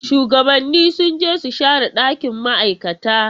Shuwagabanni sun je su share dakin ma'aikata.